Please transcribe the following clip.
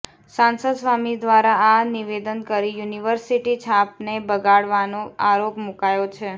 સાંસદ સ્વામી દ્વારા આ નિવેદન કરી યુનિવર્સિટી છાપને બગાડવાનો આરોપ મૂકાયો છે